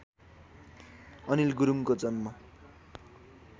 अनिल गुरुङको जन्म